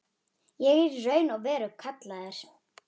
Ég er í raun og veru kallaður.